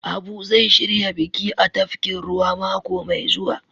Abu zai shirya biki a tafkin ruwa mako Mai zuwa.